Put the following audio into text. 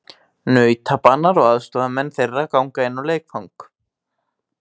Nautabanar og aðstoðarmenn þeirra ganga inn á leikvang.